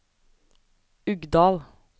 Uggdal